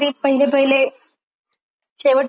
शेवट पर्यंत बघण्यासाठी सस्पेन्स पाहिजेच.